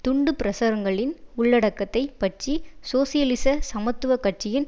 துண்டுப்பிரசுரங்களின் உள்ளடக்கத்தைப் பற்றி சோசியலிச சமத்துவ கட்சியின்